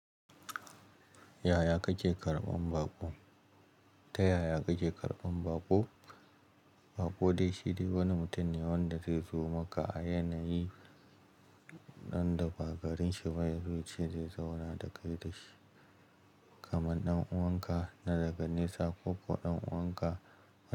Yaya kake karɓan baƙo? Ta yaya kake karɓan baƙo? Baƙo dai shi dai wani mutum ne wanda zai zo maka a yanayi ɗan dafa garin shi ba ya so cin zai zauna da kai da shi, kamar ɗan'uwanka na daga nesa ko ƙuwa ɗan'uwanka.